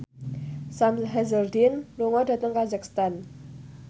Sam Hazeldine lunga dhateng kazakhstan